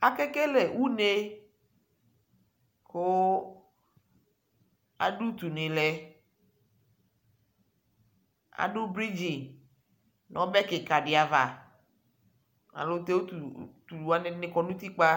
Akekele une kʋ adʋ utu ni lɛ Adʋ bridzi, nʋ ɔbɛ kika di ava, ayɛlʋtɛ utu wani kɔ nʋ utikpa